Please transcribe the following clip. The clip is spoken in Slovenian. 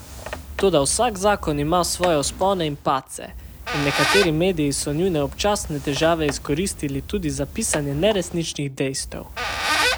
Toda vsak zakon ima svoje vzpone in padce in nekateri mediji so njune občasne težave izkoristili tudi za pisanje neresničnih dejstev.